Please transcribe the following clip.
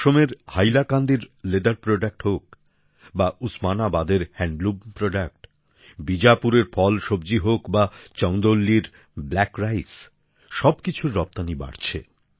অসমের হাইলাকান্দির চামড়ার তৈরি পণ্য হোক বা উসমানাবাদের তাঁতের পণ্য বীজাপুরের ফলসব্জি হোক বা চন্দৌলির ব্ল্যাক রাইস সবকিছুর রপ্তানী বাড়ছে